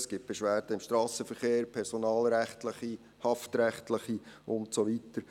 es gibt Beschwerden im Strassenverkehr, personalrechtliche, haftrechtliche und so weiter.